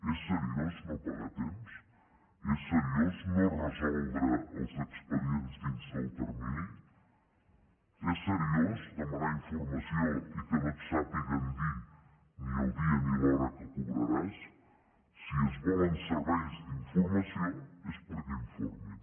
és seriós no pagar a temps és seriós no resoldre els expedients dins del termini és seriós demanar informació i que no et sàpiguen dir ni el dia ni l’hora que cobraràs si es volen serveis d’informació és perquè informin